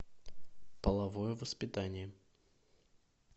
половое воспитание